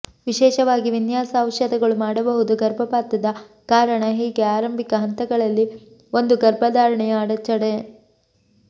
ವಿಶೇಷವಾಗಿ ವಿನ್ಯಾಸ ಔಷಧಗಳು ಮಾಡಬಹುದು ಗರ್ಭಪಾತದ ಕಾರಣ ಹೀಗೆ ಆರಂಭಿಕ ಹಂತಗಳಲ್ಲಿ ಒಂದು ಗರ್ಭಧಾರಣೆಯ ಅಡಚಣೆ